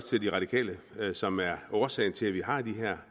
til de radikale som er en årsag til at vi har den her